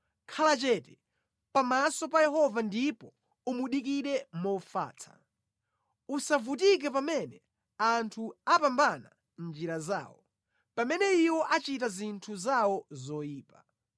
Khala chete pamaso pa Yehova ndipo umudikire mofatsa; usavutike pamene anthu apambana mʼnjira zawo, pamene iwo achita zinthu zawo zoyipa.